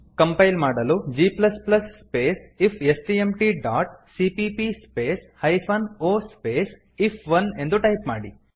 compile ಮಾಡಲು g space ಇಫ್ಸ್ಟ್ಮ್ಟ್ dot CPP space hyphen O space if one ಎಂದು type ಮಾಡಿ